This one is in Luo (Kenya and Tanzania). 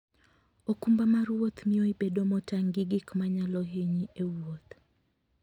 okumba mar wuoth miyo ibedo motang' gi gik manyalo hinyi e wuoth.